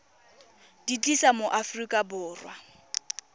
di tlisa mo aforika borwa